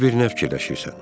Gör bir nə fikirləşirsən.